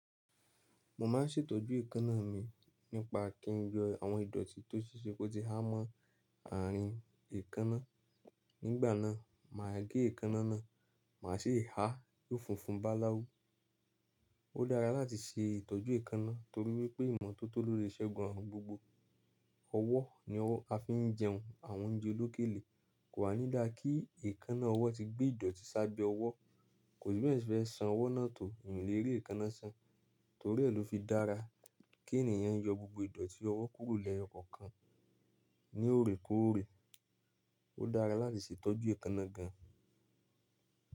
Mo ma n ṣètọ́jú èékánná mi nípa kí n yọ àwọn ìdọ̀tí tó ṣeṣẹ́ kótí há mọ àárín èékánná. Nígbà náà, màá gẹ èékánná náà, màá ṣe é há yo funfun bá láwú. Ó dára láti ṣe ìtọ́jú èékánná torí wípé ìmọ́tótó lole segun arun gbogbo. Ọwọ́ ni a fi ń jẹun àwọn oúnjẹ olókèèle, kò wa ní dá kí èékánná ọwọ́ ti gbé ìdọ̀tí sábẹ́ ọwọ́. Kò sì bẹ́ẹ̀ yan ṣé fe san ọwọ́ náà tó, eyan o lè rí èékánná san. Torí ẹ́ lọ́ fi dára kí ènìyàn yọ gbogbo ìdọ̀tí ọwọ́ kúrò lẹyo kọkàn ní òrèkóòrè. Ó dára láti ṣe ìtọ́jú èékánná gan.